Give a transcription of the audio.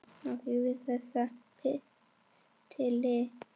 Og fylgir þessum pistli.